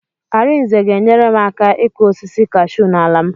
Arinze ga-enyere m aka ịkụ osisi kashuu n'ala m.